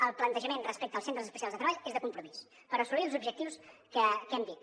el plantejament respecte als centres especials de treball és de compromís per assolir els objectius que hem dit